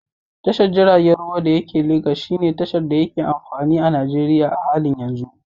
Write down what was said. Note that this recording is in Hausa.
Tashar jirgin ruwan da yake Lagos shine tashar da yake amfani a Najeriya a halin yanzu.